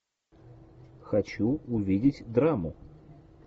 хочу увидеть драму